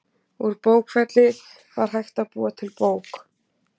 Úr bókfelli var hægt að búa til bók.